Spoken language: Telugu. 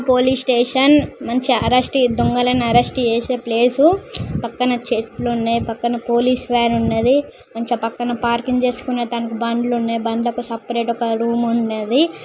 పోలీస్ స్టేషన్ నుంచి అరెస్టు దొంగలను అరెస్టు చేసే ప్లేస్ పక్కన చెట్లు ఉన్నాయి పక్కన పోలీస్ వాన్ ఉన్నది మంచిగా పక్కన పార్కింగ్ చేసుకోవడానికి బండ్లు ఉన్నాయి బండ్లకు సపరేట్ ఒక రూమ్ ఉన్నది.